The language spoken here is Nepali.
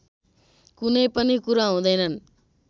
कुनै पनि कुरा हुँदैनन्